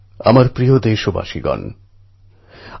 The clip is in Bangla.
আমার প্রিয় দেশবাসী নমস্কার